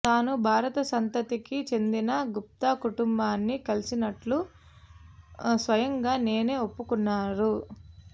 తాను భారత సంతతికి చెందిన గుప్తా కుటుంబాన్ని కలిసినట్లు స్వయంగా నేనే ఒప్పుకున్నారు